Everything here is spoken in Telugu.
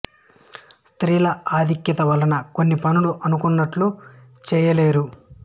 స్త్రీల అధిక్యత వలన కొన్ని పనులు అనుకున్నట్లు చెయ లేరు